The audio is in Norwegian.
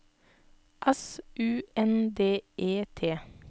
S U N D E T